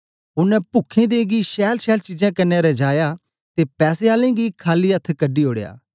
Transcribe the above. ओनें पुख्खें दें गी छैलछैल चीजें कन्ने रजाया ते पैसे आलें गी खाली अथ्थ कढी ओड़या